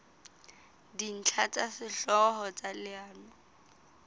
dintlha tsa sehlooho tsa leano